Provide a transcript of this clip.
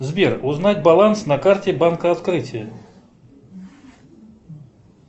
сбер узнать баланс на карте банка открытие